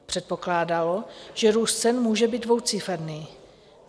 Předpokládalo, že růst cen může být dvouciferný.